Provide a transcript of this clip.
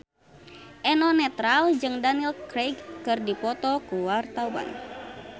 Eno Netral jeung Daniel Craig keur dipoto ku wartawan